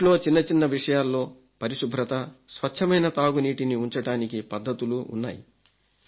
ఇంట్లో చిన్నచిన్న విషయాల్లో పరిశుభ్రత స్వచ్ఛమైన తాగునీటిని ఉంచటానికి పద్ధతులు ఉన్నాయి